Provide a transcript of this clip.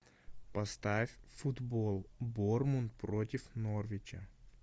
поставь футбол борнмут против норвича